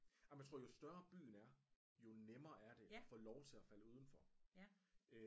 Jamen jeg tror jo større byen er jo nemmere er det og få lov til at falde udenfor